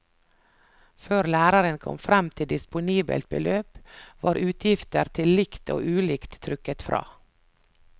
Før læreren kom frem til disponibelt beløp, var utgifter til likt og ulikt trukket fra.